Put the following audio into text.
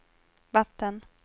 vatten